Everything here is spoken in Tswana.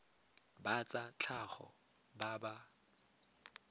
ba tsa tlhago ba ba